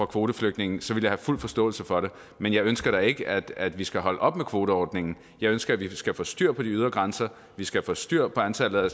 kvoteflygtninge så ville jeg have fuld forståelse for det men jeg ønsker da ikke at at vi skal holde op med kvoteordningen jeg ønsker at vi skal få styr på de ydre grænser vi skal få styr på antallet af